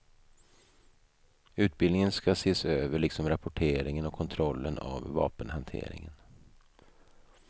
Utbildningen ska ses över liksom rapporteringen och kontrollen av vapenhanteringen.